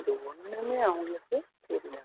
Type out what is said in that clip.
எது ஒண்ணுமே அவங்களுக்கு தெரியாது